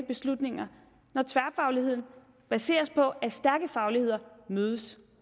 beslutninger når tværfagligheden baseres på at stærke fagligheder mødes